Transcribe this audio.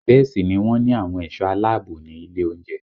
Bẹ́ẹ̀ sì ni wọ́n ní àwọn ẹ̀sọ́ aláààbò ní ilé oúnjẹ